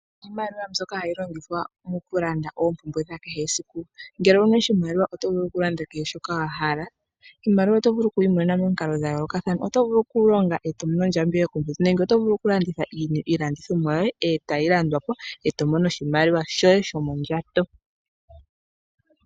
Iimaliwa mbyoka hayi longithwa okulanda oompumbwe dha kehe esiku, ngele owuna oshimaliwa oyo vulu okulanda kehe shoka wa hala iimaliwa oto vulu okuyi imonena momikalo dha yoolokathana oto vulu okulonga eto mono ondjambi yokomwedhi nenge oto vulu oku landitha iilandithonwa yoye eto mono oshimaliwa shoye shomondjato.